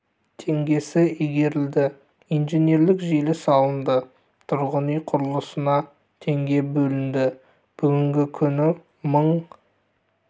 теңгесі игерілді инженерлік желі салынды тұрғын үй құрылысына теңге бөлінді бүгінгі күні мың